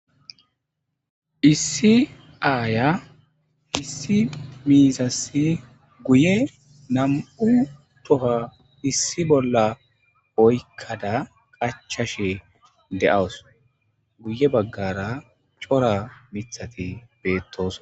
Issi aya issi miizassi guye nam7u toha issi bolla oykkada qachashe de7awusu guye baggara cora miththati bettosona.